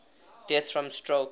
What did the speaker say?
deaths from stroke